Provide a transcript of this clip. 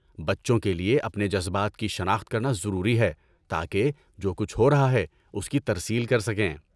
بچوں کے لیے اپنے جذبات کی شناخت کرنا ضروری ہے تاکہ جو کچھ ہو رہا ہے اس کی ترسیل کر سکیں۔